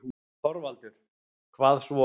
ÞORVALDUR: Hvað svo?